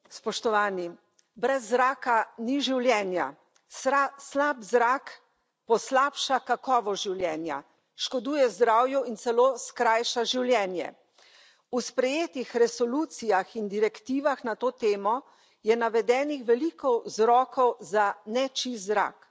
Spoštovani predsedujoči! Brez zraka ni življenja, slab zrak poslabša kakovost življenja, škoduje zdravju in celo skrajša življenje. V sprejetih resolucijah in direktivah na to temo je navedenih veliko vzrokov za nečist zrak.